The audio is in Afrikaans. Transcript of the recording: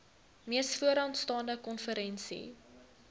mees vooraanstaande konferensie